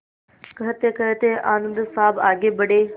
कहतेकहते आनन्द साहब आगे बढ़े